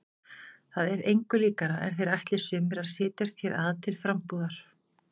Það er engu líkara en þeir ætli sumir að setjast hér að til frambúðar.